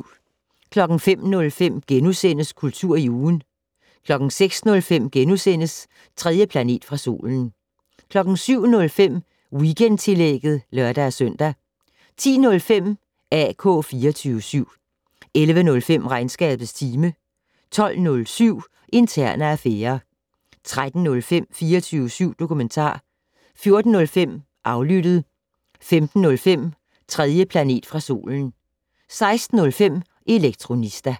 05:05: Kultur i ugen * 06:05: 3. planet fra solen * 07:05: Weekendtillægget (lør-søn) 10:05: AK 24syv 11:05: Regnskabets time 12:07: Interne affærer 13:05: 24syv dokumentar 14:05: Aflyttet 15:05: 3. planet fra solen 16:05: Elektronista